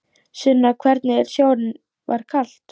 Sunna: Hvernig er sjórinn, var kalt?